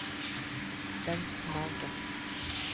Venstremargen